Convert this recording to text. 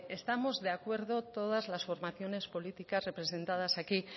estamos de acuerdo todas las formaciones políticas representadas aquí